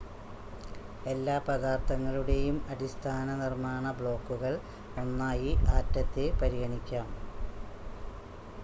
എല്ലാ പദാർത്ഥങ്ങളുടെയും അടിസ്ഥാന നിർമ്മാണ ബ്ലോക്കുകൾ ഒന്നായി ആറ്റത്തെ പരിഗണിക്കാം